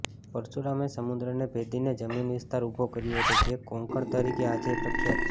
પરશુરામે સમુદ્રને ભેદીને જમીન વિસ્તાર ઉભો કર્યો હતો જે કોંકણ તરીકે આજેય પ્રખ્યાત છે